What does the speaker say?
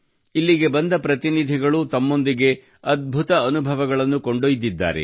ಇಲ್ಲಿಗೆ ಬಂದ ಪ್ರತಿನಿಧಿಗಳು ತಮ್ಮೊಂದಿಗೆ ಅದ್ಭುತ ಅನುಭವಗಳನ್ನು ಕೊಂಡೊಯ್ದಿದ್ದಾರೆ